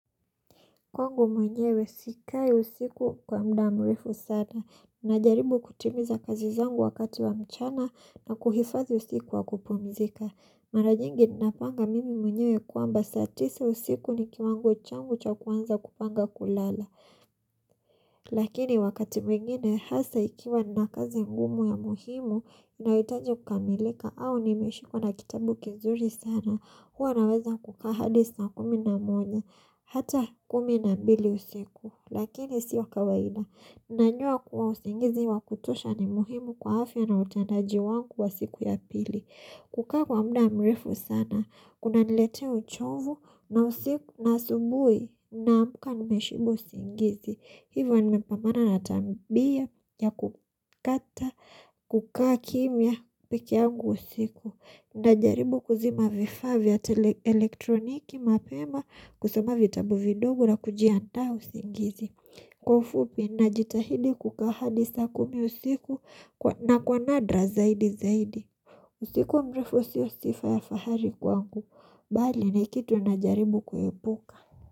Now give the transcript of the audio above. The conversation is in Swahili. Kwangu mwenyewe sikai usiku kwa muda mrefu sana. Ninajaribu kutimiza kazi zangu wakati wa mchana na kuhifadhi usiku wa kupumzika. Mara nyingi ninapanga mimi mwenyewe kwamba saa tisa usiku ni kiwango changu cha kuanza kupanga kulala. Lakini wakati mwingine hasa ikiwa nina kazi ngumu ya muhimu inayohitaji kukamilika au nimeshikwa na kitabu kizuri sana. Huwa ninaweza kukaa hadi saa kumi na moja hata kumi na mbili usiku, lakini sio kawaida ninajua kuwa usingizi wa kutosha ni muhimu kwa afya na utendaji wangu wa siku ya pili kukaa kwa muda mrefu sana kunaniletea uchovu, na asubuhi ninaamka nimeshikwa usingizi hivyo nimepambana na tabia ya kukataa kukaa kimya peke yangu usiku ninajaribu kuzima vifaa vya elektroniki mapema, kusoma vitabu vidogo na kujiandaa usingizi kwa ufupi ninajitahidi kukaa hadi saa kumi usiku, na kwa nadra zaidi zaidi usiku mrefu sio sifa ya fahari kwangu bali ni kitu ninajaribu kuepuka.